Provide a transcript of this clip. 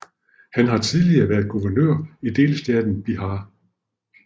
Han har tidligere været guvernør i delstaten Bihar